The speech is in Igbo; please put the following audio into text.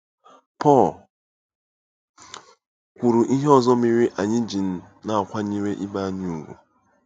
Pọl kwuru ihe ọzọ mere anyị ji na-akwanyere ibe anyị ùgwù.